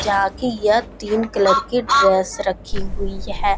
जहाँ की यह तीन कलर की ड्रेस रखी हुई है।